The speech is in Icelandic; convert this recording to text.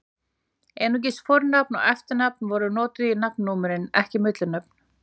Einungis fornafn og eftirnafn voru notuð í nafnnúmerin, ekki millinöfn.